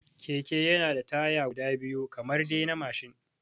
Keke yana da taya guda biyu kamar dai na mashin